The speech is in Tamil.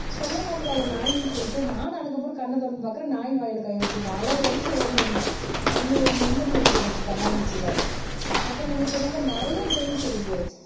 சொல்லலாம்ல அது நாயின்னு சொல்லிட்டு நானும் அதுக்கப்புறம் கண்ண திறந்து பார்க்கிறேன் நாய் வாயில கையை வச்சிருக்கேன் அலறி அடிச்சு ஓடி வந்தேன் அந்த ஒரு மெமரி இருக்கு எனக்கு கண்ணாமூச்சியில. அப்புறம் நீங்க சொன்ன மாதிரி நிறைய கேம்ஸ் இருக்கு